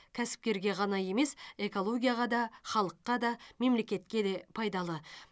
кәсіпкерге ғана емес экологияға да халыққа да мемлекетке де пайдалы